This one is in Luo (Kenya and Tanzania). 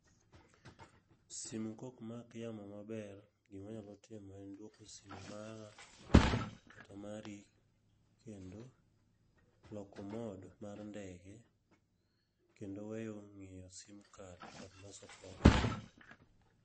Simu kok mak yamo maber, gimanyalo timo en dwoko simu mara kata mari kendo, loko mode mar ndege. Kendo weyo ng'iyo sim card kod loso program.